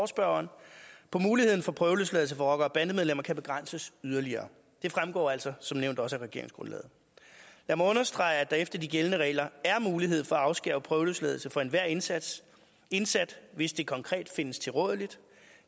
spørgeren på muligheden for at prøveløsladelse for rocker og bandemedlemmer kan begrænses yderligere det fremgår altså som nævnt også af regeringsgrundlaget lad mig understrege at der efter de gældende regler er mulighed for at afskære prøveløsladelse for enhver indsat indsat hvis det konkret findes tilrådeligt